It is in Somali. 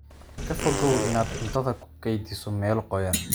Ka fogow inaad cuntada ku kaydiso meelo qoyan.